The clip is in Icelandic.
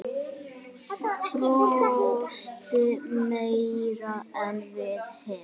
Brosti meira en við hin.